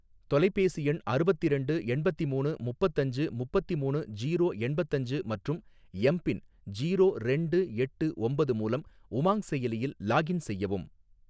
தொலைபேசி எண் அறுவத்திரண்டு எண்பத்திமூணு முப்பத்தஞ்சு முப்பத்தி மூணு ஜீரோ எண்பத்தஞ்சு மற்றும் எம் பின் ஜீரோ ரெண்டு எட்டு ஒம்பது மூலம் உமாங் செயலியில் லாக்இன் செய்யவும்